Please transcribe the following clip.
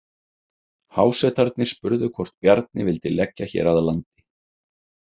Hásetarnir spurðu hvort Bjarni vildi leggja hér að landi.